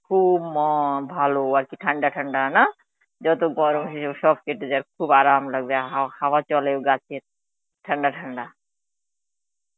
খুব ম ভালো আর কি, ঠাডা ঠাডা না? যত গরমই হোক সব কেটে যায়, খুব আরাম লাগবে আ হাওয়া চলে গাছের, ঠাডা ঠান্ডা.